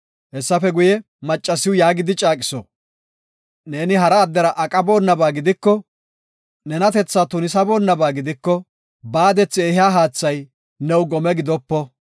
Hessafe guye, maccasiw yaagidi caaqiso; “Neeni hara addera aqabonaba gidiko, nenatethaa tunisaboonaba gidiko, baadethi ehiya haathay new gome gidopo.